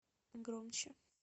громче